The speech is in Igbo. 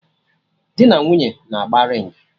Dị na nwunye na-agba ringị